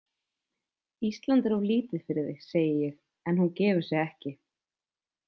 Ísland er of lítið fyrir þig, segi ég en hún gefur sig ekki.